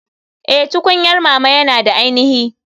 Eh tukunyar mama yana da ainihi.